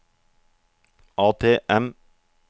ATM